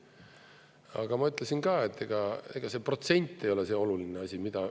Aga ma ütlesin ka, et ega see protsent ei ole see oluline asi.